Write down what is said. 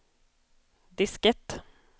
diskett